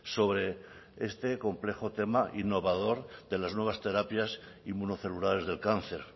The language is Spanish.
sobre este complejo tema innovador de las nuevas terapias inmunocelulares del cáncer